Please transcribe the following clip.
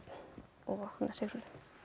og Sigrúnu